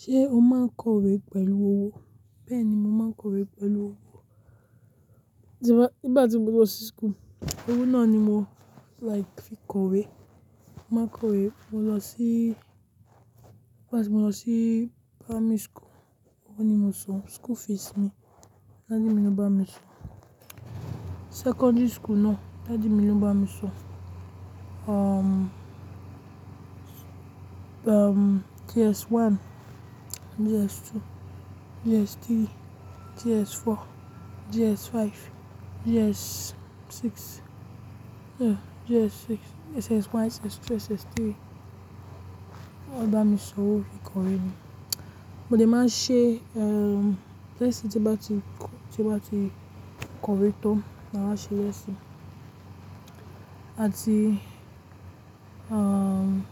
Ṣé o máa ń kọ̀wé pẹ̀lú owó? Bẹ́ẹ̀ni, mo máa ń kọ̀wé pẹ̀lú owó. Nígbà tí mo lọ sí skool, owó náà ni mo like fi kọ̀wé. Mo máa ń kọ̀wé, mo lọ sí, nígbà tí mo lọ sí primary school, owó ni mo sọ school fees mi. Daddi mi ni ó bá mi san. Secondary school náà, daddi mi ló bá mi san Umm, umm, JS one, JS two, JS three, JS four, JS five, JS six, yeah, JS six, SS one, SS two, SS three. Ó dá mi san owó fi kọ̀wé ni. Mo dè máa ṣe umm, test tí bá ti, tí bá ti kọ̀wé tán, màá ṣe test. Àti umm,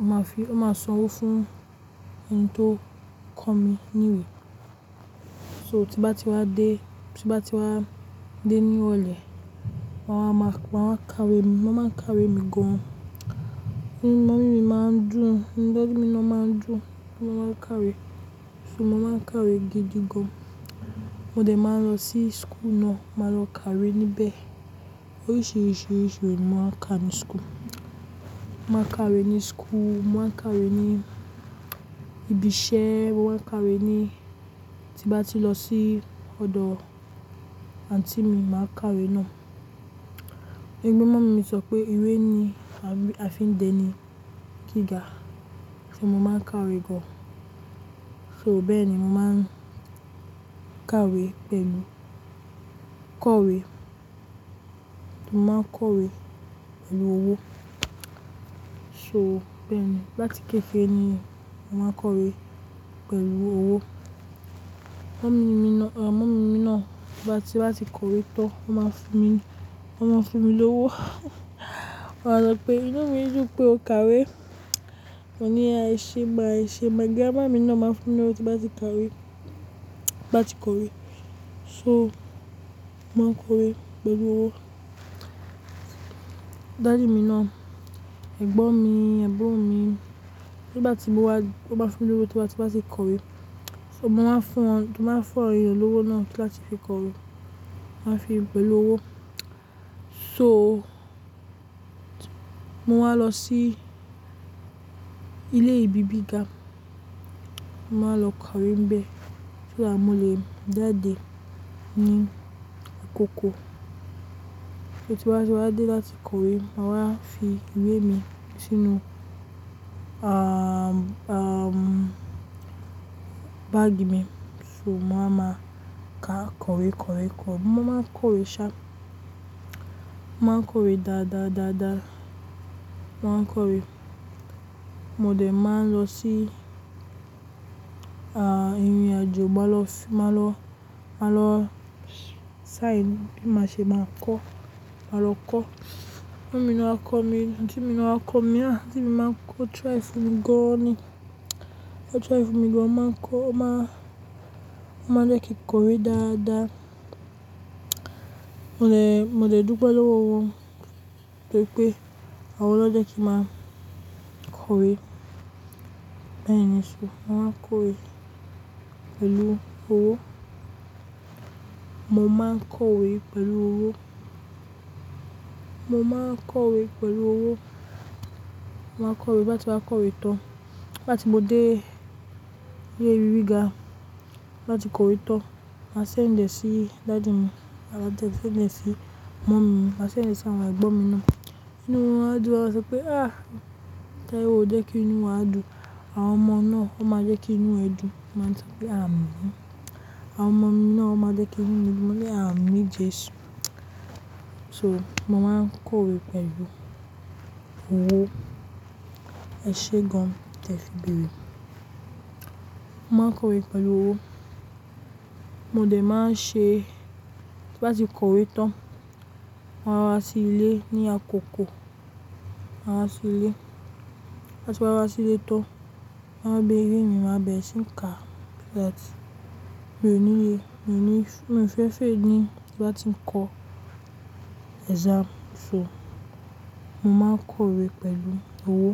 máa fi, ó máa san owó fún ẹni tó kọ́ mi ní ìwé. So tí bá ti wá dé, tí bá ti wá dé ní irolẹ, wọ́n á máa, wọ́n á kawe, wọ́n á máa ń kawe mi gan. Mummi mi máa ń dùn, daddi mi náà máa ń dùn, ti n báa kawe. So mo máa ń kawe gidi gan. Mo dè máa lọ sí skool náà, màá lọ kawe níbẹ̀. Oríṣiríṣi ìwé ni mo máa ń ka ní skool. Mo máa ń kawe ní skool, mo máa ń kawe ní ibi iṣẹ́, mo máa ń kawe ní-- tí bá ti lọ sí ọ̀dọ̀ aunti mi, màá kawe náà. Gẹ́gẹ́ bí mummu mi sọ pé ìwé ni a fi ń dẹni gíga, so mo máa ń kawe gan. So bẹ́ẹ̀ ni mo máa ń kawe pẹ̀lú kawé. Mo máa ń kọ̀wé pẹ̀lú owó. So bẹ́ẹ̀ ni, láti kékere ni mo máa ń kọ̀wé pẹ̀lú owó. Mummi mi náà, mummi mi náà nígbá ti, bá ti kọ̀wé tán, ó máa fún mi, ó máa fún mi lówó. Ó máa sọ pé "inú mi yóò pé o kawe". Mo ní èṣe má, èṣe ma. But daddi mi náà máa ń fún mi lówó tí bá ti kawe, bá ti kọ̀wé. So mo máa ń kọ̀wé pẹ̀lú owó. Daddu mi náà, ẹ̀gbọ́n mi, ẹ̀gbọ́n mi, nígbà tí mo wá, ó máa fún mi lówó tí o bá si kọ̀wé. So mo máa ń fún wọn, mo máa fún ọ̀rẹ́ mi lówó náà láti fi kọ̀wé. Wọ́n á fi pé olówó. So mo máa lọ sí ilé ìbí gíga, màá lọ kawe níbẹ̀. So that, mo lè jáde ní àkókò. So tí bá ti wá dé láti kọ̀wé, màá wá fi ìwé mi sínú umm, umm, báàgì mi. So má máa ka kọ̀wé, kọ̀wé kọ. Mo máa ń kọ̀wé ṣá, mo máa ń kọ̀wé dáadáa, dáadáa. Mo máa ń kọ̀wé. Mo dè máa n lọ sí umm, ìrìnàjò, máa lọ sí, máa lọ, máa lọ sáyéǹsì, bí mo ṣe máa kọ́. Màá lọ kọ́. Mummi mi áà kọ́ mi, aunti mi áà kọ́ mi. Aunti mi máa ń kọ́ mi, ah, aunti mi o try funmi gan ni. Ó try fun mi gan ni. Ó máa ń kọ́, ó máa, ó máa jẹ́ kí kọ̀wé dáadáa. Mo lè, mo dè dúpẹ́ lọ́wọ́ wọn toripé àwọn ló jẹ́ kí màá kọ̀wé. Bẹ́ẹ̀ ni, so ma n máa ń kọ̀wé pẹ̀lú owó. Mo máa ń kọ̀wé pẹ̀lú owó. Mo máa ń kọ̀wé pẹ̀lú owó. Mo máa ń kọ̀wé, ti ni bá ti kọ̀wé tán, nigbati mo dé ilé ìwe giga, tin bati kọ̀wé tán, màá sẹ̀nd ẹ̀ sí daddy mi, màá sẹ̀nd e sí mummy mi, màá sẹ̀nd ẹ̀ sí àwọn ẹ̀gbọ́n mi náà. Ínú wọ́n á dùn, wọ́n á sọ pé "ah! Tori o jẹ́ kí inú wa dùn, àwọn ọmọ náà, wọ́n máa jẹ́ kí inú ẹ dùn". Máa sọ pe àmín Jésù. So mo máa ń kọ̀wé pẹ̀lú owó. Ẹ ṣe gan tẹ fi bèrè. Mo máa ń kọ̀wé pẹ̀lú owó. Mo dè máa n ṣe, tí bá ti kọ̀wé tán, mo máa wá sí ilé ní àkókò. Màá wá sí ilé. Ti n bá ti wá sí ilé tán, má mu iwe mí, màá bẹ̀rẹ̀ sí í ka so that Mi ò nílé, mi ò ní, mo fẹ́ fail ti n bá ti ń kọ exam. So mo máa ń kọ̀wé pẹ̀lú owó.